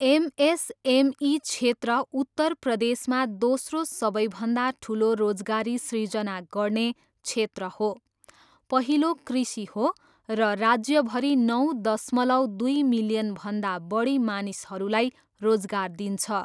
MSME क्षेत्र उत्तर प्रदेशमा दोस्रो सबैभन्दा ठुलो रोजगारी सृजना गर्ने क्षेत्र हो, पहिलो कृषि हो, र राज्यभरि नौ दशमलव दुई मिलियनभन्दा बढी मानिसहरूलाई रोजगार दिन्छ।